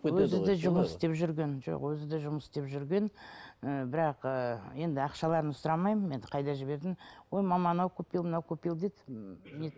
өзі де жұмыс істеп жүрген жоқ өзі де жұмыс істеп жүрген ы бірақ ы енді ақшаларын сұрамаймын енді қайда жібердің ой мама анау купил мынау купил дейді м